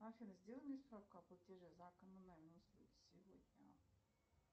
афина сделай мне справку о платеже за коммунальные услуги сегодня